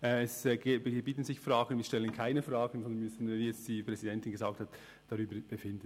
Es gibt Fragen, doch wir stellen keine Fragen, sondern müssen, wie die Präsidentin gesagt hat, darüber befinden.